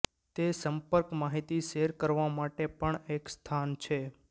તે સંપર્ક માહિતી શેર કરવા માટે પણ એક સ્થાન છે